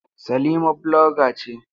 Salima bloga ce.